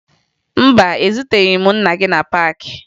Mba, ezuteghi m nna gị na paakị